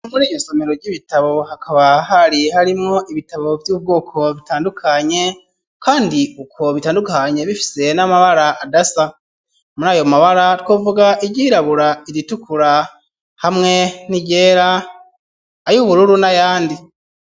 Muri iyo somero ry'ibitabo hakaba hari harimwo ibitabo vy'ubwoko bitandukanye, kandi ukwo bitandukanye bifise n'amabara adasa muri ayo mabara twovuga iryirabura iritukura hamwe niyera ayo ubururu na yandi.